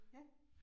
Ja